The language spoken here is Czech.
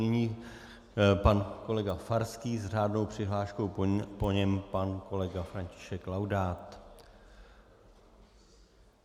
Nyní pan kolega Farský s řádnou přihláškou, po něm pan kolega František Laudát.